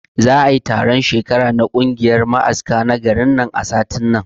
Za'ai taron shekara na kungiyar ma'aska na garin nan a satin nan